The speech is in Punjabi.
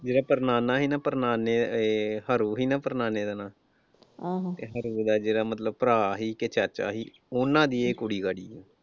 ਜਿਹੜਾ ਪੜਨਾਨਾ ਸੀ ਨਾ ਪੜਨਾਨੇ ਅਹ ਹਰੂ ਸੀ ਨਾ ਪੜਨਾਨੇ ਦਾ ਨਾਂ ਉਹਦਾ ਜਿਹੜਾ ਮਤਲਬ ਭਰਾ ਸੀ ਕਿ ਚਾਚਾ ਸੀ ਉਨ੍ਹਾਂ ਦੀ ਇਹ ਕੁੜੀ ਕੜੀ ਐ